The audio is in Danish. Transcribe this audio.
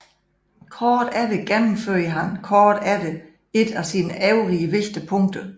Kort efter gennemførte han kort efter et af sine øvrige vigtige punkter